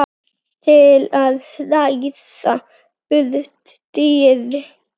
til að hræða burt dýr.